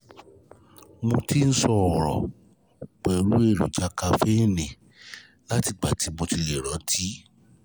Mo ti níṣòro pẹ̀lú èròjà kaféènì látìgbà tí mo ti lè rántí